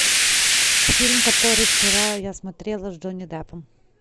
фильм который вчера я смотрела с джонни деппом